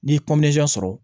N'i ye sɔrɔ